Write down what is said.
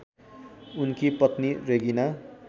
उनकी पत्नी रेगिना